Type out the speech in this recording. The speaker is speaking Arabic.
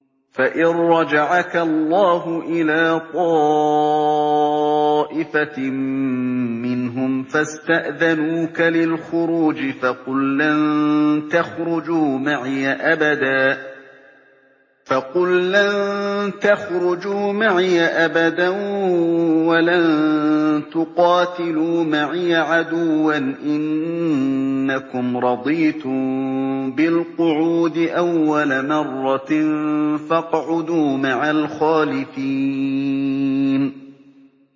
فَإِن رَّجَعَكَ اللَّهُ إِلَىٰ طَائِفَةٍ مِّنْهُمْ فَاسْتَأْذَنُوكَ لِلْخُرُوجِ فَقُل لَّن تَخْرُجُوا مَعِيَ أَبَدًا وَلَن تُقَاتِلُوا مَعِيَ عَدُوًّا ۖ إِنَّكُمْ رَضِيتُم بِالْقُعُودِ أَوَّلَ مَرَّةٍ فَاقْعُدُوا مَعَ الْخَالِفِينَ